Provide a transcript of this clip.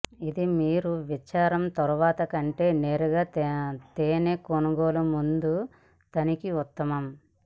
ఇది మీరు విచారం తర్వాత కంటే నేరుగా తేనె కొనుగోలు ముందు తనిఖీ ఉత్తమం